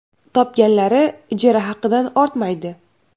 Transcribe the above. Topganlari ijara haqidan ortmaydi.